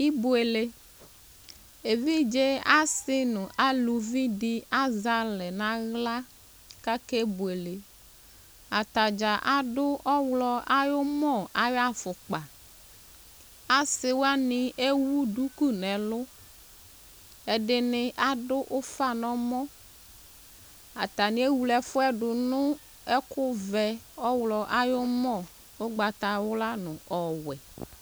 Ibuele Evidze asi nu aluvi dini azɛ alɛ naɣla kakebueleAtadza adʋ ɔɣlɔ ayɔmɔ ayafukpa Asiwani ewu duku nɛlʋƐdini adʋ ufa nɔmɔAtani ewle ɛfuɛ du nʋ :ɛkʋ vɛ, ɔɣlɔ ayɔmɔ, ugbatawla nu ɔwɛ